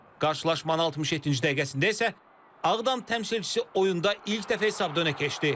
Qarşılaşmanın 67-ci dəqiqəsində isə Ağdam təmsilçisi oyunda ilk dəfə hesabda önə keçdi.